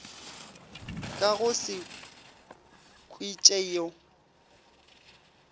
ka go se kwiše yo